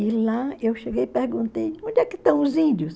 E lá eu cheguei e perguntei, onde é que estão os índios?